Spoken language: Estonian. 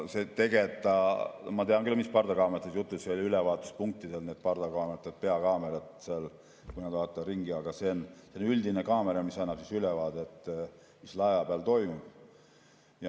Ma tean küll, mis kaameratest on jutt, ülevaatuspunktides need peakaamerad seal, kui nad vaatavad ringi, aga see on selline üldine kaamera, mis annab ülevaadet, mis laeva peal toimub.